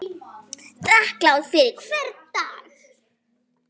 Þakklát fyrir hvern dag.